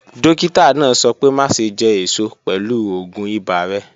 Dọ́kítà náà sọ̀ pẹ̀ máṣẹ̀ jẹ́ èṣọ̀ pẹ̀lú ọ̀gún ìbà rẹ̀.